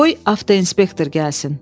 "Qoy avtoinspektor gəlsin."